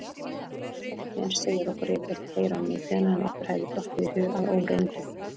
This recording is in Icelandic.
Fortíðin segir okkur yfirleitt fleira um nútíðina en okkur hefði dottið í hug að óreyndu.